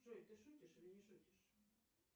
джой ты шутишь или не шутишь